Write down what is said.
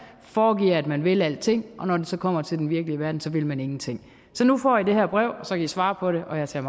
foregiver at man vil alting og når det så kommer til den virkelige verden så vil man ingenting så nu får i det her brev og så kan i svare på det og jeg ser